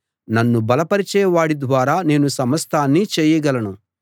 నన్ను బలపరచే వాడి ద్వారా నేను సమస్తాన్నీ చేయగలను